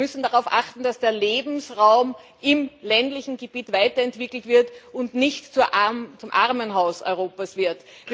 Wir müssen darauf achten, dass der Lebensraum im ländlichen Gebiet weiterentwickelt wird und nicht zum Armenhaus Europas wird.